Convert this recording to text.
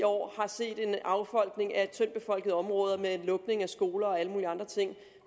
år har set en affolkning af de tyndtbefolkede områder og lukning af skoler og alle mulige andre ting